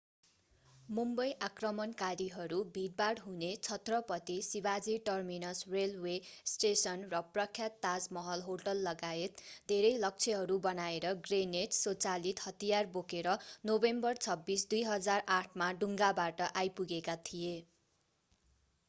मुम्बई आक्रमणकारीहरू भिडभाड हुने Chhatrapati Shivaji terminus railway station र प्रख्यात ताजमहल होटललगायत धेरै लक्ष्यहरू बनाएर ग्रेनेड स्वचालित हतियार बोकेर नोभेम्बर 26 2008 मा डुङ्गाबाट आइपुगेका थिए